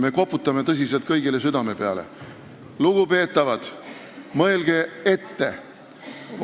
Me koputame tõsiselt kõigile südame peale: lugupeetavad, mõelge ette!